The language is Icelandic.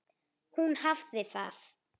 Hún hafði það.